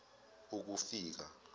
ukufika